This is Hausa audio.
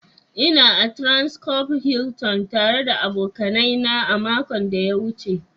Ina a transcorp Hilton tare da abokanai na makon da ya wuce.